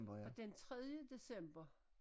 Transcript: Og den tredje december